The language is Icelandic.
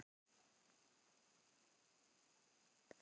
Svo greip hann til gáfna sinna.